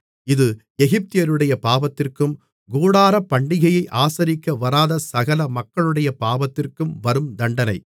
இது எகிப்தியருடைய பாவத்திற்கும் கூடாரப்பண்டிகையை ஆசரிக்க வராத சகல மக்களுடைய பாவத்திற்கும் வரும் தண்டனை